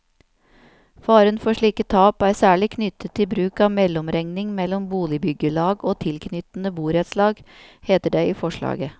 Faren for slike tap er særlig knyttet til bruk av mellomregning mellom boligbyggelag og tilknyttede borettslag, heter det i forslaget.